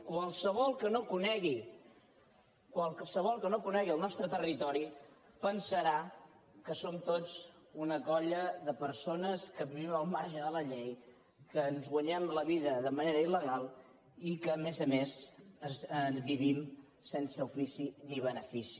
qualsevol que no conegui qualsevol que no conegui el nostre territori deu pensar que som tots una colla de persones que vivim al marge de la llei que ens guanyem la vida de manera il·legal i que a més a més vivim sense ofici ni benefici